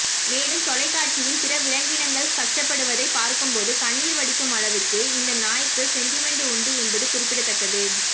மேலும் தொலைக்காட்சியின் பிற விலங்கினங்கள் கஷ்டப்படுவதை பார்க்கும்போது கண்ணீர் வடிக்கும் அளவுக்கு இந்த நாய்க்கு செண்டிமெண்ட் உண்டு என்பது குறிப்பிடத்தக்கது